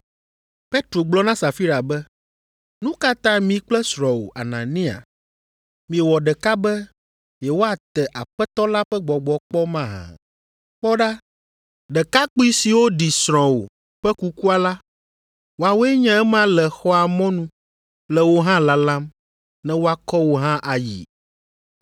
Petro gblɔ na Safira be, “Nu ka ta mi kple srɔ̃wò, Anania, miewɔ ɖeka be yewoate Aƒetɔ la ƒe Gbɔgbɔ kpɔ mahã? Kpɔ ɖa ɖekakpui siwo ɖi srɔ̃wò ƒe kukua la, woawoe nye ema le xɔa mɔnu le wò hã lalam ne woakɔ wò hã ayii.”